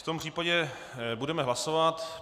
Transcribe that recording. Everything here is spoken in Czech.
V tom případě budeme hlasovat.